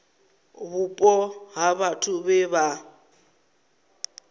vhupo ha vhathu vhe vha